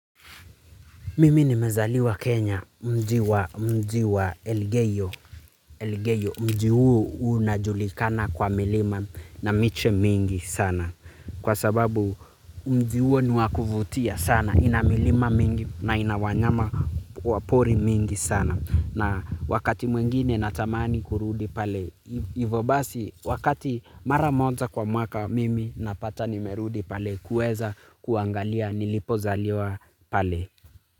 Mimi nimezaliwa Kenya mji wa mji wa Elgeyo mji huo unajulikana kwa milima na miche mingi sana. Kwa sababu mji huo niwakuvutia sana ina milima mingi na ina wanyama wa pori mingi sana. Na wakati mwingine natamani kurudi pale ivo basi wakati maramoja kwa mwaka mimi napata nimerudi pale kuweza kuangalia nilipo zaliwa pale.